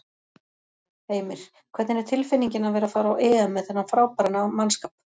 Heimir: Hvernig er tilfinningin að vera að fara á EM með þennan frábæra mannskap?